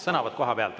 Sõnavõtt kohapealt.